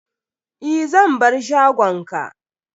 Eh, zan bar shagon ka.